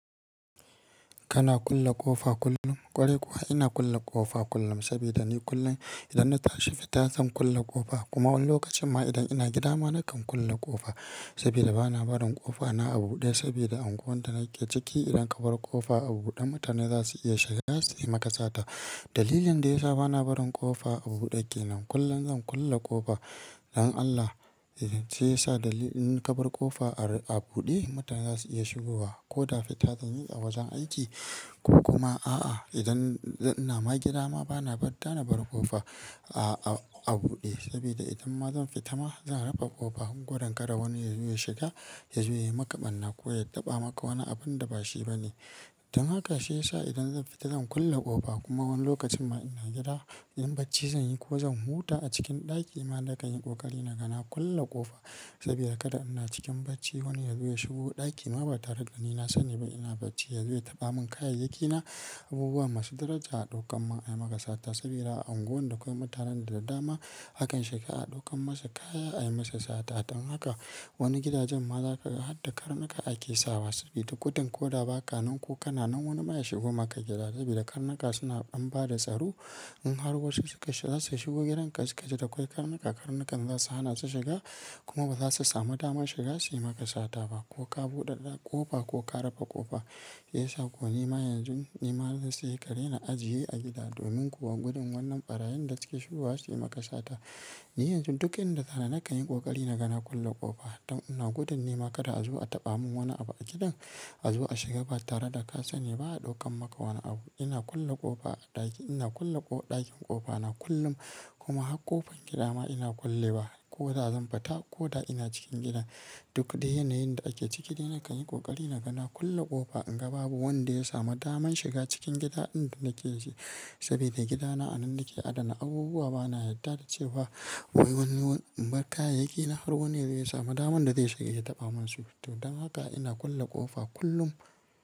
Kana kulle ƙofa kullum? Kwarai kuwa ina kulle ƙofa kullum sabida ni kullum idan na tashi fita zan kulle ƙofa kuma wani lokacin ma idan ina gida ma nakan kulle ƙofa sabida bana barin ƙofa na a buɗe saboda a unguwan da nake ciki idan ka bar ƙofa a buɗe mutane za su iya shiga za su yi maka sata. Dalilin da ya sa bana barin ƙofa a buɗe ke nan, kullum zan kulle ƙofa don Allah sai sa dalilin ka bar ƙofa a buɗe mutane za su iya shigowa ko da fita zan yi a wajen aiki kuma a'a idan ina ma gida ma bana bar ta na bar ƙofa a bude sabida idan ma zan fita ma zan rufe kofa. Gudun kada wani ya zo ya shiga ya ya maka barna ko ya taɓa maka wani abun da ba shi ba ne. Don haka shi yasa idan zan fita zan kulle ƙofa kuma wani lokacin ma ina gida idan barci zan yi ko zan huta a cikin ɗaki ma nakan yi ƙoƙari na ga na kulle ƙofa sabida kada ina cikin bacci wani ya zuwa ya shigo ɗaki ma ba ta riga ni na sani ba ina bacci ya zuwa ya taɓa mun kayayyaki na abubuwa masu daraja a ɗaukan mun ayi maka sata saboda a unguwan da akwai mutanen da dama. Akan shiga a ɗaukan masa kaya ayi musu sata. Don haka wani gidajen ma za kaga har daka karnuka ake sawa sabida gudun ko da baka nan ku kana nan wani ma ya shigo maka gida saboda karnuka suna an ba da tsaro in har wasu suka shiga za su shigo gidan ka suka shiga da karnuka karnukan za su hana su shiga kuma ba za su samu daman shiga su yi maka sata ba ko ka buɗe da ƙofa ko ka rufe ƙofa. Shi yasa ko nima yanzu nima zai sai kare na ajiye a gida domin kuwa gudun wannan ɓarayin da suke shigowa su yi maka sata. Ni yanzu duk inda tara na kan yi ƙoƙari na ga na kulle ƙofa don ina gudun nima kada a zo a taɓa mun wani abu a gidan azo a shiga ba tare da ka sani ba a daukar maka wani abu. Ina kulle ƙofa a ɗaki ina kulle ɗakin ƙofa na kullum kuma har ƙofar gida ma ina kullewa ko da zan fita ko da ina cikin gida duk da yanayin da ake ciki dai na kan yi ƙoƙari na ga na kulle ƙofa in ga babu wanda ya samu daman shiga cikin gida inda nake shi saboda gidana a nan nake adana abubuwa bana yadda da ce ba wai wani bar kayayyaki na har wani ya samu daman da zai shiga ya taɓa mun su. To don haka ina kulle ƙofa kullum.